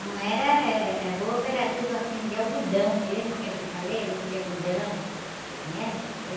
Não era, eh, eh, eh, roupa era tudo assim de algodão mesmo, que nem eu te falei, roupa de algodão, né?